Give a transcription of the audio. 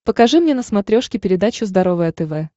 покажи мне на смотрешке передачу здоровое тв